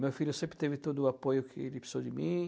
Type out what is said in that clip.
Meu filho sempre teve todo o apoio que ele precisou de mim.